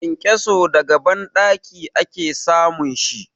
Kenkeso daga banɗaki ake samun shi.